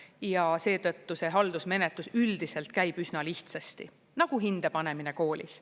Ja seetõttu see haldusmenetlus üldiselt käib üsna lihtsasti, nagu hinde panemine koolis.